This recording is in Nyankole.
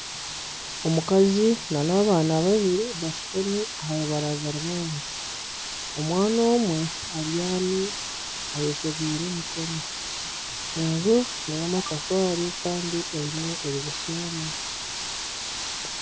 Omukazi nana abaana babiri bashutami aha rubaraza rw'enju. Omwana omwe abyami eyeshegwiire emikono. Enju neya amatafaari Kandi eine edirisa emwe.